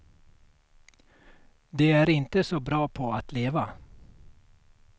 De är inte så bra på att leva.